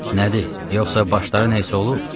Nədir, yoxsa başları nəsə olub?